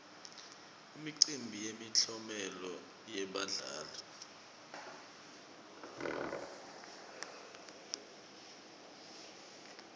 imicimbi yemiklomelo yebadlali